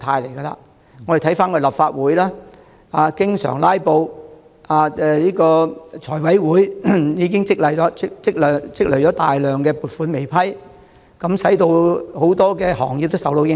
看看立法會經常出現"拉布"，財務委員會積壓了大量撥款申請未審批，令多個行業遭受影響。